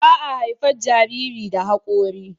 baa haifar Jariri da hakori